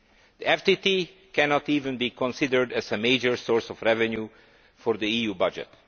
The FTT cannot even be considered a major source of revenue for the EU budget.